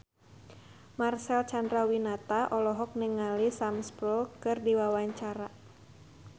Marcel Chandrawinata olohok ningali Sam Spruell keur diwawancara